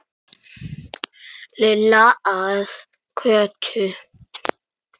Lilla að Kötu.